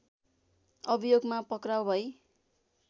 अभियोगमा पक्राउ भई